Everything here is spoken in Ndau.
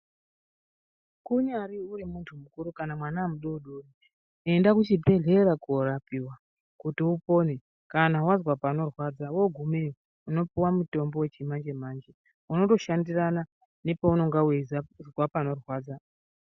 Unyari uri muntu mukuru kana mwana udodori enda kuchibhedhlera korapiwa kuti upore kana wanzwa panorwadza wagumeyo unopuwa mutombo wechimanje manje unotoshandirana nepaunenge uchinzwa panorwadza.